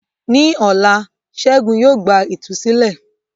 Ní ọ̀la, Ṣẹ́gun yóò gba ìtúsílẹ̀.